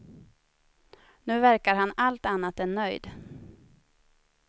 Nu verkade han allt annat än nöjd.